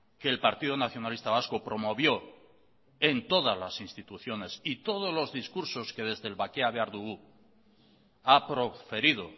que el partido nacionalista vasco promovió en todas las instituciones y todos los discursos que desde el bakea behar dugu ha proferido